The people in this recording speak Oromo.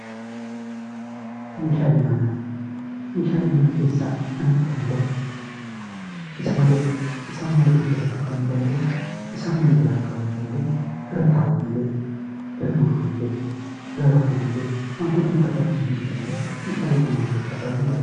Meeshaalee manaa Meeshaalee mana keessaa kan itti fayyadamnu isa malee, isaan malee hojjetachuu kan hin dandeenye, isaan malee jiraachuu kan hin dandeenye, irra taa'uufillee, irra buluufillee, irra rafuuf illee wantootni nu barbaachisan hundi isaanii meeshaalee koo mana keessaa baay'een jaalladha!